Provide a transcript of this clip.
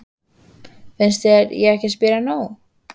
Finnst þér ég ekki spyrja nóg?